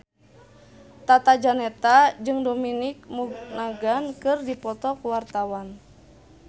Tata Janeta jeung Dominic Monaghan keur dipoto ku wartawan